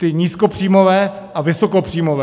Ty nízkopříjmové a vysokopříjmové.